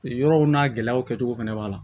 Yɔrɔw n'a gɛlɛyaw kɛcogo fɛnɛ b'a la